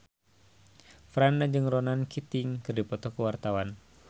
Franda jeung Ronan Keating keur dipoto ku wartawan